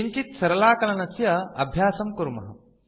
किञ्चित् सरलाकलनस्य अभ्यासं कुर्मः